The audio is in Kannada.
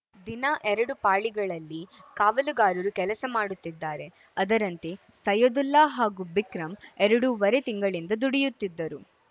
ದಿನ ಎರಡು ಪಾಳಿಗಳಲ್ಲಿ ಕಾವಲುಗಾರರು ಕೆಲಸ ಮಾಡುತ್ತಿದ್ದಾರೆ ಅದರಂತೆ ಸೈಯದುಲ್ಲಾ ಹಾಗೂ ಬಿಕ್ರಂ ಎರಡೂವರೆ ತಿಂಗಳಿಂದ ದುಡಿಯುತ್ತಿದ್ದರು